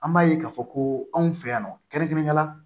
An b'a ye k'a fɔ ko anw fɛ yan nɔ kɛrɛnkɛrɛnnenya la